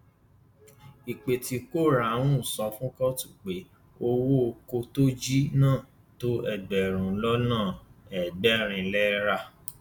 ìpèkìtò ráhùnsọ fún kóòtù pé owó ọkọ tó jí náà tó ẹgbẹrún lọnà ẹgbẹrin náírà